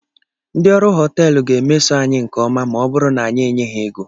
Ndị ọrụ họteelụ ga-emeso anyị nke ọma ma ọ bụrụ na anyị enye ha ego